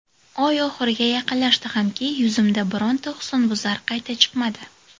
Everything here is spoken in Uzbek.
Oy oxiriga yaqinlashdi hamki, yuzimda bironta husnbuzar qayta chiqmadi.